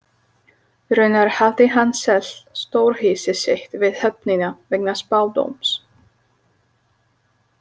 Raunar hafði hann selt stórhýsi sitt við höfnina vegna spádóms.